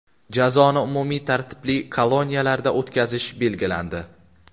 Jazoni umumiy tartibli koloniyalarda o‘tkazish belgilandi.